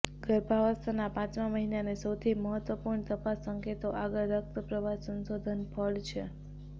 ગર્ભાવસ્થાના પાંચમા મહિને અને સૌથી મહત્વપૂર્ણ તપાસ સંકેતો આગળ રક્ત પ્રવાહ સંશોધન ફળ છે